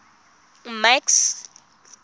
max